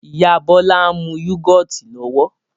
Ìyá Bọlá ń mú yúgọ́ọ́tì lọ́wọ́